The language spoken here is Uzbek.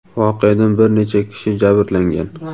Voqeadan bir necha kishi jabrlangan.